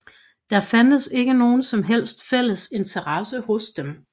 Der fandtes ikke nogen som helst fælles interesse hos dem